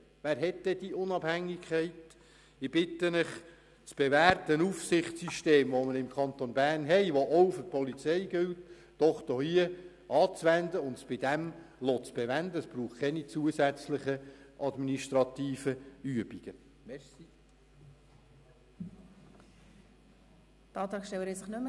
Ich bitte Sie, das bewährte Aufsichtssystem im Kanton Bern, welches auch für die Polizei gilt, anzuwenden und es dabei zu belassen.